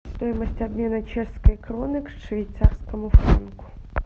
стоимость обмена чешской кроны к швейцарскому франку